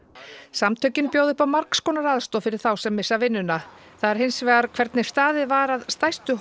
samtökin bjóða upp á margs konar aðstoð fyrir þá sem missa vinnuna það er hins vegar hvernig staðið var að stærstu